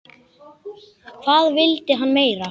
Hvað vildi hann meira?